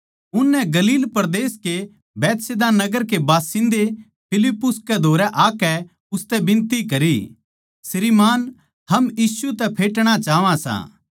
उननै गलील परदेस कै बैतसैदा नगर के बासिन्दे फिलिप्पुस कै धोरै आकै उसतै बिनती करी श्रीमान् हम यीशु तै फेटणा चाहवां सां